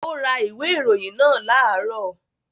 Ó ra ìwé ìròyìn náà láàárọ̀